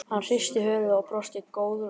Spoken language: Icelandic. Hann hristi höfuðið og brosti góðlátlega.